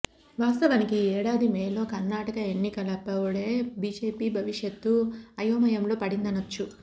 వాస్తవానికి ఈ ఏడాది మేలో కర్ణాటక ఎన్నికలప్పుడే బిజెపి భవిష్యత్తు అయోమయంలో పడిందనొచ్చు